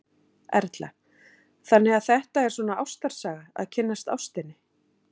Erla: Þannig að þetta er svona ástarsaga, að kynnast ástinni?